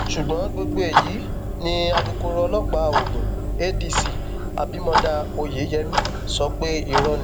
ṣùgbọn gbogbo èyí ni alūkkoro ọlọpàá ogun adc abimodá oyeyèmí sọ pé irọ ni